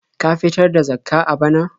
Ka fitar da Zakkah a bana?